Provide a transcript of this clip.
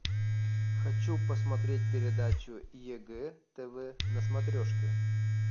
хочу посмотреть передачу егэ тв на смотрешке